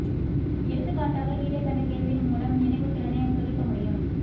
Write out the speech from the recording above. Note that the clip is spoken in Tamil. எடுத்துக்காட்டாக கீழே கண்ட கேள்வியின் மூலம் நினைவுத் திறனைச் சோதிக்க முடியும்